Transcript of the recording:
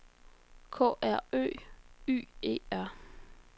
K R Ø Y E R